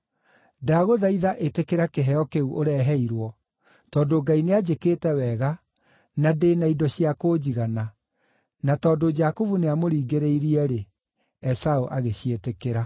Ndagũthaitha ĩtĩkĩra kĩheo kĩu ũreheirwo, tondũ Ngai nĩanjĩkĩte wega, na ndĩ na indo cia kũnjigana.” Na tondũ Jakubu nĩamũringĩrĩirie-rĩ, Esaũ agĩciĩtĩkĩra.